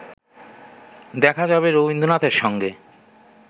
দেখা যাবে রবীন্দ্রনাথের সঙ্গে